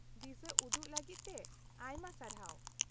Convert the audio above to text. -ᱫᱤᱥᱟᱹᱩᱫᱩᱜ ᱞᱟᱹᱜᱤᱫ ᱛᱮ ᱟᱭᱢᱟ ᱥᱟᱨᱦᱟᱣ ᱾